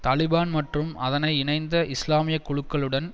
தலிபான் மற்றும் அதனை இணைந்த இஸ்லாமிய குழுக்களுடன்